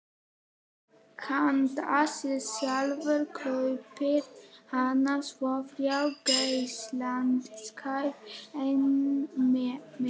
Handa sér sjálfum kaupir hann svo þrjá geisladiska: einn með